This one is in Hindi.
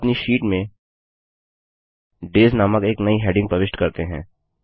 अब अपनी शीट में डेज नामक एक नई हैडिंग प्रविष्ट करते हैं